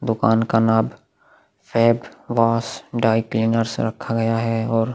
दुकान का नाम फैब वॉश ड्राइक्लीनर्स रखा गया है और--